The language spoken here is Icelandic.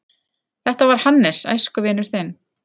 Þetta var Hannes, æskuvinur þinn.